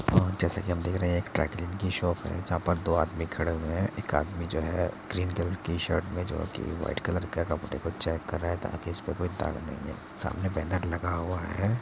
जैसा की हम देख रहें हैं ड्राइ क्लीन की शॉप है जहां पर दो आदमी खड़े हुए है | एक आदमी जो है ग्रीन कलर की शर्ट में जो की वाइट कलर के कपड़े को चेक कर रहा है ताकि इसपे कोई दाग नहीं है सामने बैनर लगा हुआ है |